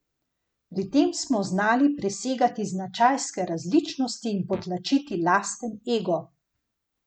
Pri tem smo znali presegati značajske različnosti in potlačiti lasten ego.